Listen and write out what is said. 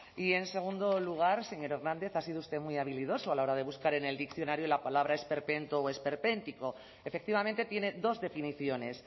y en segundo lugar señor hernández ha sido usted muy habilidoso a la hora de buscar en el diccionario la palabra esperpento o esperpéntico efectivamente tiene dos definiciones